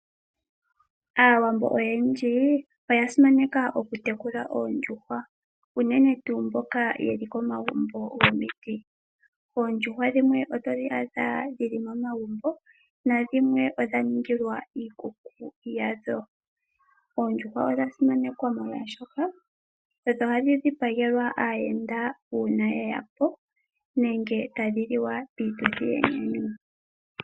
Aawambo oyendji oya simaneka oku tekula oondjuhwa uune tuu mboka ye li komagumbo gomiti. Oondjuhwa dhimwe oto dhi adha dhi li momagumbo nadhimwe odha ningilwa iikuku yadho. Oondjuhwa odha simanekwa, molwaashoka odho hadhi dhipagelwa aayenda uuna ye ya po nenge piituthi yomanyanyu